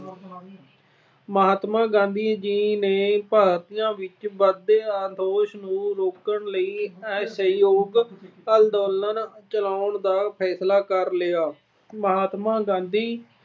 ਮਹਾਤਮਾ ਗਾਂਧੀ ਜੀ ਨੇ ਭਾਰਤੀਆਂ ਵਿੱਚ ਵਧਦੇ ਨੂੰ ਰੋਕਣ ਲਈ ਅਸਹਿਯੋਗ ਅੰਦੋਲਨ ਚਲਾਉਣ ਦਾ ਫੈਸਲਾ ਕਰ ਲਿਆ। ਮਹਾਤਮਾ ਗਾਂਧੀ